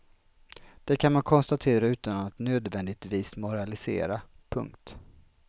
Det kan man konstatera utan att nödvändigtvis moralisera. punkt